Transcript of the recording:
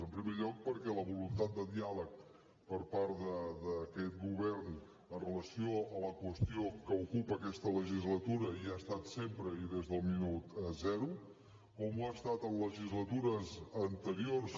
en primer lloc perquè la voluntat de diàleg per part d’aquest govern amb relació a la qüestió que ocupa aquesta legislatura hi ha estat sempre i des del minut zero com ho ha estat en legislatures anteriors